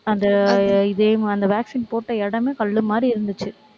அந்த, இதே அந்த vaccine போட்ட இடமே கல்லு மாதிரி இருந்துச்சு.